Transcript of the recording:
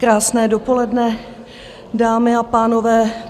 Krásné dopoledne, dámy a pánové.